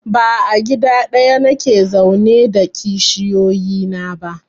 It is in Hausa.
Ba a gida ɗaya nake zaune da kishiyoyi na ba